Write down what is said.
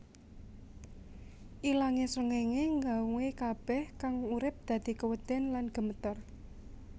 Ilangé srengenge ngawe kabeh kang urip dadi keweden lan gemeter